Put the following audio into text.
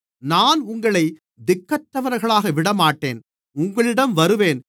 நான் உங்களைத் திக்கற்றவர்களாக விடமாட்டேன் உங்களிடம் வருவேன்